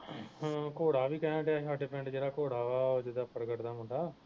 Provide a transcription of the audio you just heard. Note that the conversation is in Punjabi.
ਹਮ ਘੋੜਾ ਵੀ ਕਹਿਣ ਦਿਆਂ ਹੀ ਹਾਡੇ ਪਿੰਡ ਜਿਹੜਾ ਘੋੜਾ ਵਾ ਉਹ ਜਿਹੜਾ ਪਰਗਟ ਦਾ ਮੁੰਡਾ